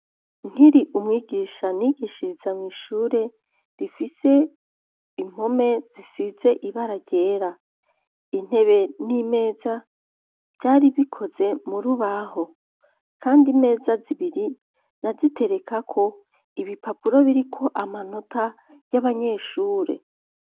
Nkiri umwigisha, nigishiriza mw’ishure, rifise impome, zisize ibara ryera; intebe, n'imeza, vyari bikoze, mu rubaho, kandi, imeza zibiri, naziterekako ibipapuro, biriko amanota, y'abanyeshure.